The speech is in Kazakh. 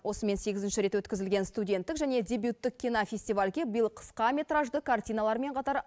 осымен сегізінші рет өткізілген студенттік және дебюттік кинофестивальге биыл қысқаметражды картиналармен қатар